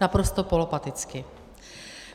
Naprosto polopaticky.